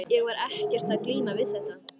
Ég var ekkert að glíma við þetta.